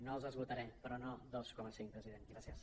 no els esgotaré però no dos coma cinc president gràcies